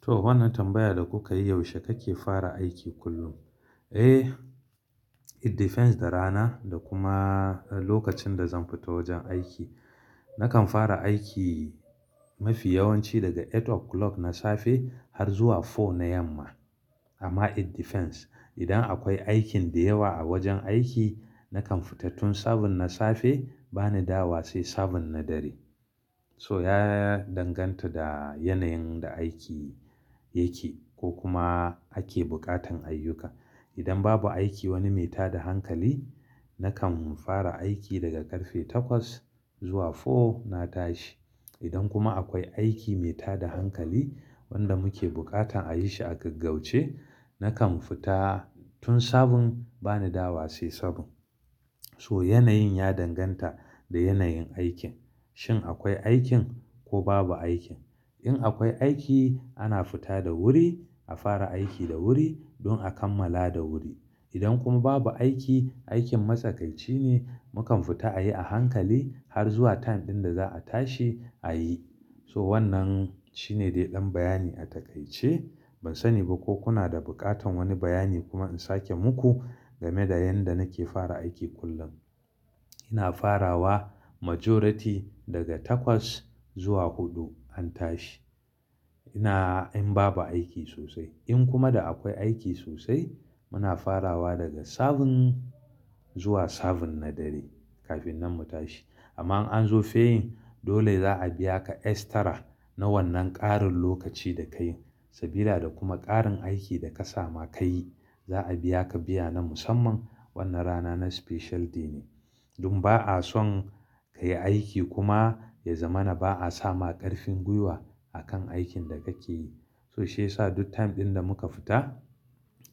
To, wannan tambayar da kuka yi, yaushe kake fara aiki kullum? Eh, it depends da rana da kuma lokacin da zan fita wajen aiki. Nakan fara aiki mafi yawanci daga eight o'clock na safe har zuwa four na yamma. Amma it depends. Idan akwai aikin da yawa a wajen aiki, nakan fita tun seven na safe, bani dawowa sai seven na dare. So ya danganta da yanayin da aiki yake ko kuma ake buƙatan ayyuka. Idan babu aiki wani mai tada hankali, nakan fara aiki daga karfe takwas zuwa four na tashi. Idan kuma akwai aiki mai tada hankali wanda muke buƙatan a yi shi a gaggauce, nakan fita tun seven, bani dawo wa sai seven. So yanayin ya danganta da yanayin aikin, shin akwai aikin ko babu aikin. In akwai aiki, ana fita da wuri, a fara aiki da wuri don a kammala da wuri. Idan kuma babu aiki, aikin matsakaici ne, mukan fita a yi a hankali har zuwa time ɗin da za a tashi a yi. So wannan shine dai ɗan bayani a takaice. Ban sani ba ko kuna da buƙatan wani bayani kuma in sake muku game da yanda nake fara aiki kullum. Ina farawa majority daga takwas zuwa huɗu an tashi. Ina in babu aiki sosai. In kuma da akwai aiki sosai, muna farawa daga seven zuwa seven na dare kafin nan mu tashi. Amma in an zo fe yin, dole za a biya ka extra na wannan ƙarin lokaci da kayi sabida da kuma ƙarin aiki da ka sama ka yi. Za a biya ka biya na musamman wannan rana na specialty ne. Don ba a son ka yi aiki kuma ya zama na ba a sama ƙarfin gwiwa a kan aikin da kake yi. So shi ya sa duk time ɗin da muka fita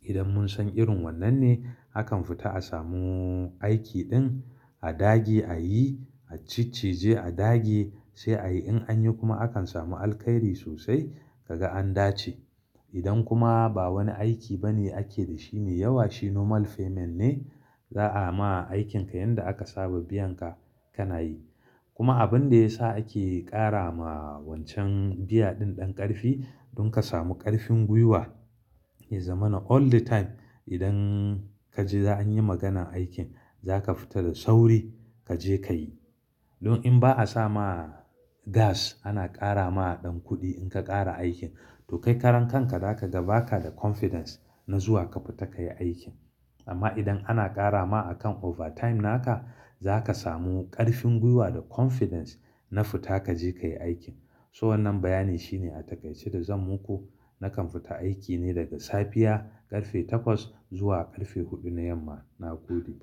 idan mun san irin wannan ne, akan fita a samu aiki ɗin a dage a yi, a ciccije a dage sai a yi. In an yi kuma akan samu alkairi sosai ka ga an dace. Idan kuma ba wani aiki ba ne ake da shi me yawa, shi normal payment ne. Za a ma aikinka yanda aka saba biyan ka ka na yi. Kuma abin da ya sa ake ƙara ma wancan biya ɗin ɗan ƙarfi don ka samu ƙarfin gwiwa ya zama na all di time. Idan ka ji za anyi maganar aikin, za ka fita da sauri ka je ka yi. Don in ba a sama gas, ana ƙara ma ɗan kuɗi in ka ƙara aikin to kai karan kanka za ka ga ba ka da confidence na zuwa ka fita ka yi aikin. Amma idan ana ƙara ma akan overtime naka, za ka samu ƙarfin gwiwa da confidence na fita ka je ka yi aikin. So wannan bayani shine a taƙaice da zan muku. Nakan fita aiki ne daga safiya ƙarfe takwas zuwa ƙarfe huɗu na yamma. Na gode.